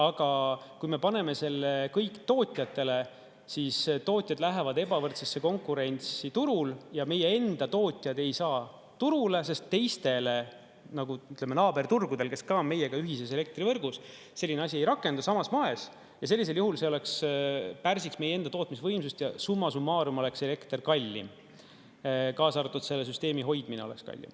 Aga kui me paneme selle kõik tootjatele, siis tootjad lähevad ebavõrdsesse konkurentsi turul ja meie enda tootjad ei saa turule, sest teistele, nagu ütleme, naaberturgudel, kes ka on meiega ühises elektrivõrgus, selline asi ei rakendu samas moes, ja sellisel juhul pärsiks meie enda tootmisvõimsust ja summa summarum oleks elekter kallim, kaasa arvatud selle süsteemi hoidmine oleks kallim.